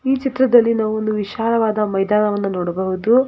ಈ ಚಿತ್ರದಲ್ಲಿ ನಾವೊಂದು ವಿಶಾಲವಾದ ಮೈದಾನವನ್ನು ನೋಡಬಹುದು.